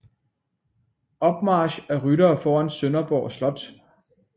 Opmarch af ryttere foran Sønderborg slot